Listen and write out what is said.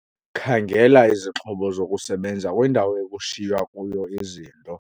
Khangela izixhobo zokusebenza kwindawo ekushiywa kuyo izinto.